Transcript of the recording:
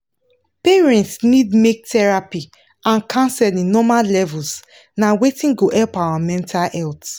parents need make therapy and counseling normal levels na wetin go help our mental health